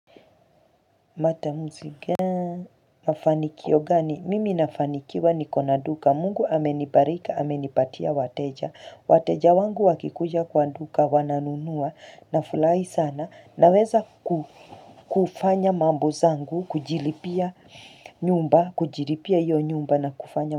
Matamuzi ga mafanikio gani mimi nafanikiwa niko na duka mungu amenibariki amenipatia wateja wateja wangu wakikuja kwa duka wananunua nafurahi sana naweza ku kufanya mambo zangu kujilipia nyumba kujilipia hiyo nyumba na kufanya.